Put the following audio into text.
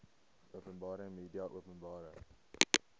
openbare media openbare